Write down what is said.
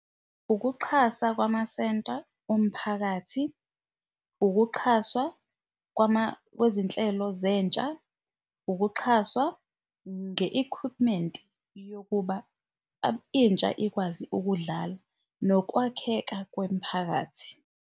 Ukuxhasa kwamasenta omphakathi, ukuxhaswa kwezinhlelo zentsha, ukuxhaswa nge-equipment yokuba intsha ikwazi ukudlala nokwakheka kwemiphakathi.